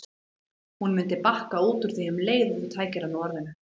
Hún mundi bakka út úr því um leið og þú tækir hana á orðinu.